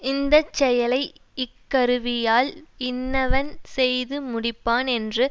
இந்த செயலை இக்கருவியால் இன்னவன் செய்துமுடிப்பான் என்று